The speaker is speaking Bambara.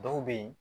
Dɔw be yen